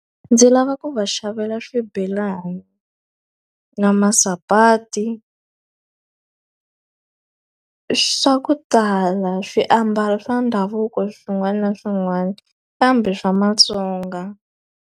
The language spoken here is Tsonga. Ndzi lava ku va xavela swibelani na masapati swa ku tala swiambalo swa ndhavuko swin'wana na swin'wana kambe swa Vasonga.